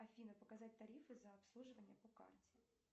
афина показать тарифы за обслуживание по карте